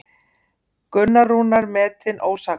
Gunnar Rúnar metinn ósakhæfur